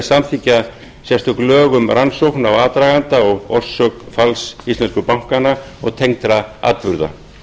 samþykkja sérstök lög um rannsókn á aðdraganda og orsök falls íslensku bankanna og tengdra atburða